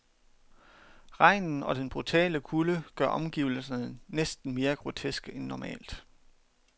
Regnen og den brutale kulde gør omgivelserne næsten mere groteske end normalt.